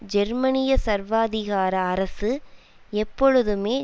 ஜெர்மனிய சர்வாதிகார அரசு எப்பொழுதுமே